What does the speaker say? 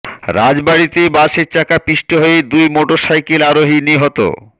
রাজবাড়ীতে বাসের চাকায় পিষ্ট হয়ে দুই মোটরসাইকেল আরোহী নিহত